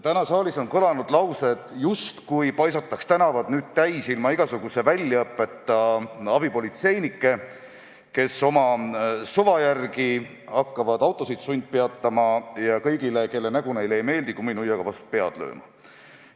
Täna on siin kõlanud laused, justkui paisataks tänavad täis ilma igasuguse väljaõppeta abipolitseinikke, kes hakkavad oma suva järgi autosid sundpeatama ja kõigile, kelle nägu neile ei meeldi, kumminuiaga vastu pead lööma.